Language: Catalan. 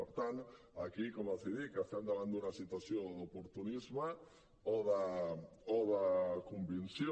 per tant aquí com els dic estem davant d’una situació d’oportunisme o de convicció